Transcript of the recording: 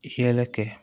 Hɛlɛ kɛ